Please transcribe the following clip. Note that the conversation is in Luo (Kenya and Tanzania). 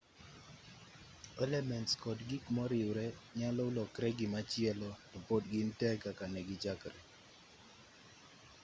elements kod gik moriwre nyalo lokre gimachielo to pod gin tee kaka negichakre